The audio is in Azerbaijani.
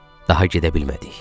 Daha gedə bilmədik.